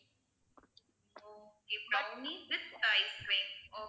ah okay brownie with ice-cream